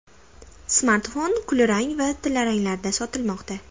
Smartfon kulrang hamda tillaranglarda sotilmoqda.